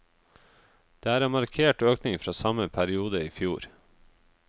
Det er en markert økning fra samme periode i fjor.